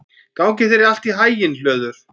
Gangi þér allt í haginn, Hlöður.